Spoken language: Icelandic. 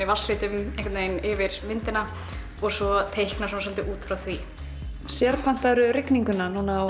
vatnslitum einhvern veginn yfir myndina og svo teikna út frá því rigninguna núna á